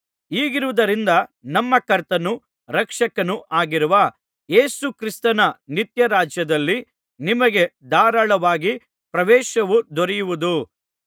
ಹೀಗಿರುವುದರಿಂದ ನಮ್ಮ ಕರ್ತನೂ ರಕ್ಷಕನೂ ಆಗಿರುವ ಯೇಸುಕ್ರಿಸ್ತನ ನಿತ್ಯ ರಾಜ್ಯದಲ್ಲಿ ನಿಮಗೆ ಧಾರಾಳವಾಗಿ ಪ್ರವೇಶವು ದೊರೆಯುವುದು